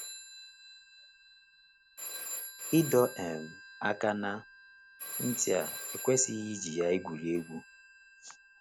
Ịdọ um aka ná ntị a ekwesịghị iji ya egwuri egwu.